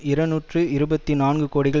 இருநூற்றி இருபத்தி நான்கு கோடிகள்